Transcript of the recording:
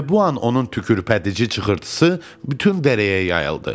Elə bu an onun tükürpədici çığırıltısı bütün dərəyə yayıldı.